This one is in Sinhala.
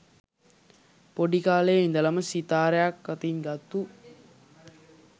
පොඩි කාලෙ ඉඳලම සිතාරයක් අතින් ගත්තු